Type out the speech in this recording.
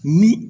Ni